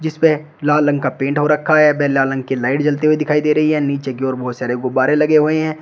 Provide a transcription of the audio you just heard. जिसपे लाल रंग का पेंट हो रखा है व लाल रंग की लाइट जलती हुई दिखाई दे रही है नीचे की ओर बहोत सारे गुब्बारे लगे हुए है।